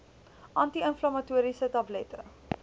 anti inflammatoriese tablette